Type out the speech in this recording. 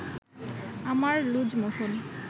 আমার loose motion